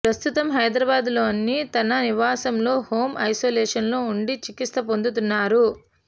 ప్రస్తుతం హైదరాబాద్లోని తన నివాసంలో హోం ఐసోలేషన్లో ఉండి చికిత్స పొందుతున్నారు